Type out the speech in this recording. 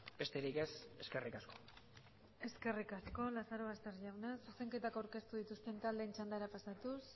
besterik ez eskerrik asko eskerrik asko lazarobaster jauna zuzenketak aurkeztu dituzten taldeen txandara pasatuz